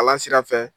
Kalan sira fɛ